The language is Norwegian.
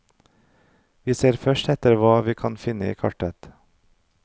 Vi ser først etter hva vi kan finne i kartet.